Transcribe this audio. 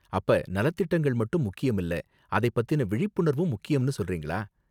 அப்ப நலத்திட்டங்கள் மட்டும் முக்கியம் இல்ல அதை பத்தின விழிப்புணர்வும் முக்கியம்னு சொல்றீங்களா?